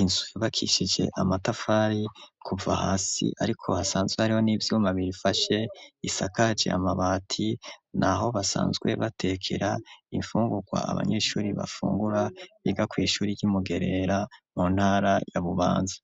inzu yubakishije amatafari, kuva hasi, ariko hasanzwe hariho, n'ivyuma birifashe; isakaje amabati, ni aho basanzwe batekera, imfungurwa, abanyeshuri bafungura, biga kw’ishuri y'i Mugerera, mu ntara ya Bubanza.